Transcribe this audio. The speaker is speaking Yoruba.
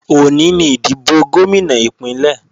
Òní ni ìdìbò Gómìnà Ìpínlẹ̀